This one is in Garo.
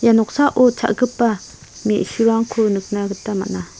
noksao cha·gipa me·surangko nikna gita man·a.